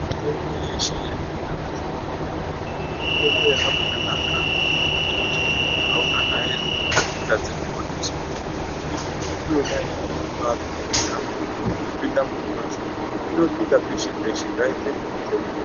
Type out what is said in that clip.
Mitombo yeshe iri kubuda mazuwa anaya, mitombo yakabaanaka yekuti munthu auhahairwi wotadza kuponeswa, ngekuti mitombo yona iyoyo inobaapinda munyama yopinda mubhonzo onopinda peshe peshe ngaitengwe mitomboyo